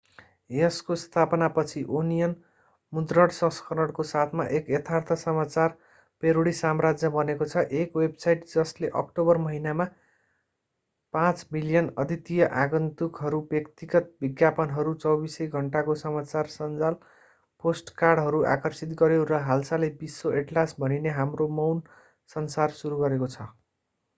यसको स्थापना पछि ओनियन मुद्रण संस्करणको साथमा एक यथार्थ समाचार प्यारोडी साम्राज्य बनेको छ एक वेबसाइट जसले अक्टोबर महिनामा 5,000,000 अद्वितीय आगन्तुकहरू व्यक्तिगत विज्ञापनहरू 24 सै घण्टाको समाचार सञ्जाल पोडकास्टहरू आकर्षित गर्‍यो र हालसालै विश्व एटलास भनिने हाम्रो मौन संसार सुरु गरेको छ।